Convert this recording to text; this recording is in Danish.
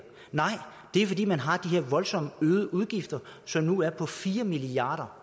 nej det er fordi man har de her voldsomt øgede udgifter som nu er på fire milliard